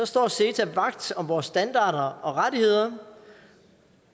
står ceta vagt om vores standarder og rettigheder